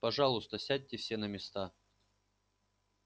пожалуйста сядьте все на места